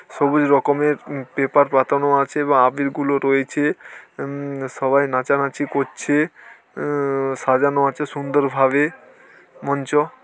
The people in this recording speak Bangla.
সবুজ রকমের পেপার পাতানো আছে এবং আবির গুলো রয়েছে উম সবাই নাচানাচি করছে উম সাজানো আছে সুন্দরভাবে মঞ্চ--